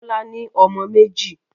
Bọ́lá ní ọmọ méjì.